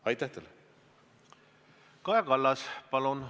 Kaja Kallas, palun!